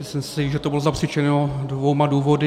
Myslím si, že to bylo zapříčiněno dvěma důvody.